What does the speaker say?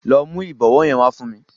Lọ mu ìbọwọ́ yẹn wá fún mi.